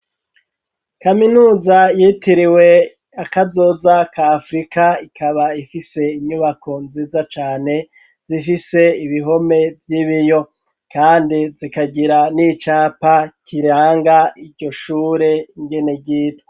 Kaminuza yitiriwe akazoza ka afurika ikaba ifise inyubako nziza cane zifise ibihome vy'ibiyo kandi zikagira n'icapa kiranga iryo shure ingene ryitwa.